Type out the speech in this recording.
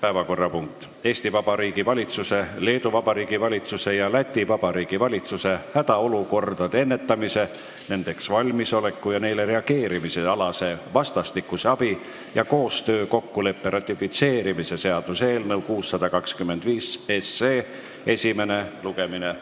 päevakorrapunkt on Eesti Vabariigi valitsuse, Leedu Vabariigi valitsuse ja Läti Vabariigi valitsuse hädaolukordade ennetamise, nendeks valmisoleku ja neile reageerimise alase vastastikuse abi ja koostöö kokkuleppe ratifitseerimise seaduse eelnõu 625 esimene lugemine.